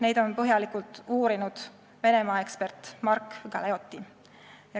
Neid on põhjalikult uurinud Venemaa-ekspert Mark Galeotti.